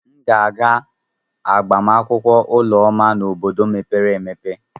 M ga-aga agbamakwụkwọ Ụlọma n'obodo mepere emepe.